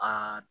Aa